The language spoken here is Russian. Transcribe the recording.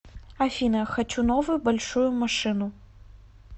афина хочу новую большую машину